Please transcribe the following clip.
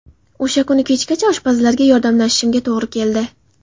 O‘sha kuni kechgacha oshpazlarga yordamlashishimga to‘g‘ri keldi.